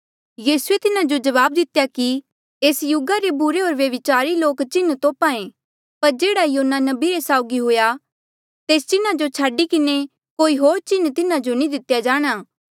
यीसूए तिन्हा जो जवाब दितेया कि एस युगा रे बुरे होर व्यभिचारी लोक चिन्ह तोप्हा ऐें पर जेह्ड़ा योना नबी रे साउगी हुआ तेस चिन्हा जो छाडी किन्हें कोई होर चिन्ह तिन्हा जो नी दितेया जाणा